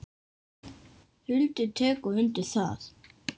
Hildur tekur undir það.